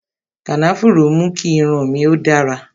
Kànáfùrú mú kí irun mi ó dára